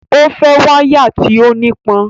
O fẹ́ wáyà tí ó nípọn